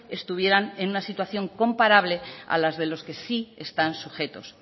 estuvieran en una situación comparable a las de los que sí están sujetos